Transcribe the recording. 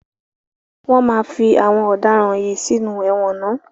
Wọ́n máa fí àwọn ọ̀daràn yìí sínú ẹ̀wọ̀n ná.